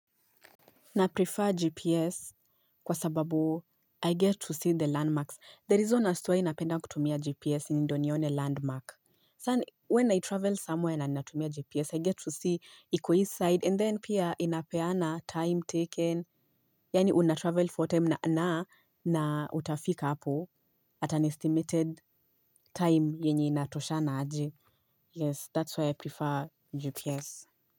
Na prefer GPS kwa sababu I get to see the landmarks. There reason as to why napenda kutumia GPS ni ndio nione landmark. Sana when I travel somewhere na ninatumia GPS, I get to see iko hii side and then pia inapeana time taken. Yani unatravel for time na utafika hapo at an estimated time yenye inatoshana aje. Yes, that's why I prefer GPS.